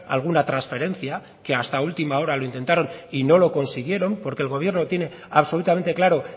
alguna transferencia que hasta última hora lo intentaron y no lo consiguieron porque el gobierno tiene absolutamente claro